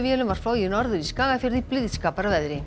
var flogið norður í Skagafjörð í blíðskaparveðri